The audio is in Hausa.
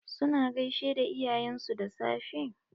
Su na gaishe da iyayen su da safe?